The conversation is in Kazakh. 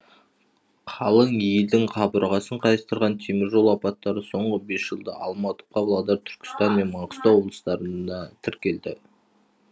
қалың елдің қабырғасын қайыстырған теміржол апаттары соңғы бес жылда алматы павлодар түркістан мен маңғыстау облыстарында тіркелді